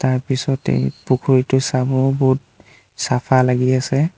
তাৰ পিছতেই পুখুৰীটো চাব বহুত চাফা লাগি আছে।